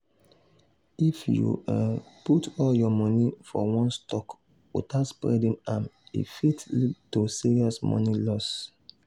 if you um put all your money for one stock without spreading am e fit lead to serious money loss.